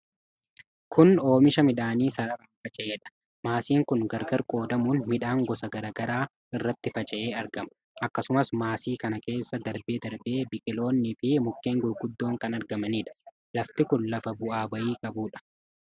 Kun oomisha midhaanii sararaan faca'edha. Maasiin kun gargar qoodamuun midhaan gosa garaa garaa irratti faca'ee argama. Akkasumas maasii kana keessa darbee darbee biqiloonni fi mukkeen gurguddoon kan argamaniidha. Lafti kun lafa bu'aa bayii qabuudha.